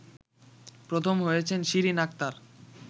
প্রথম হয়েছেন শিরিন আক্তার